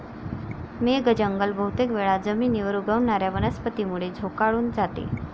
मेघ जंगल बहुतेक वेळा जमीनीवर उगवणाऱ्या वनस्पतींमुळे झोकाळून जाते.